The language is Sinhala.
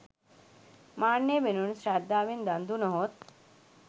මාන්නය වෙනුවට ශ්‍රද්ධාවෙන් දන් දුනහොත්